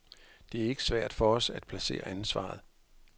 Det er ikke svært for os at placere ansvaret.